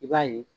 I b'a ye